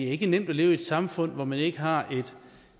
ikke er nemt at leve i et samfund hvor man ikke har et